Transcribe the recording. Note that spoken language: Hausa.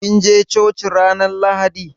Kin je coci ranan lahaɗi?